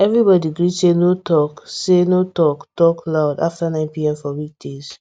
everybody gree say no talk say no talk talk loud after 9 pm for weekdays